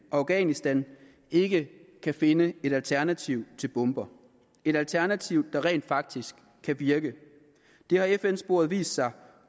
afghanistan ikke kan finde et alternativ til bomber et alternativ der rent faktisk kan virke det har fn sporet vist sig